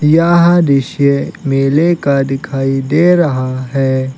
यह दृश्य मेले का दिखाई दे रहा है।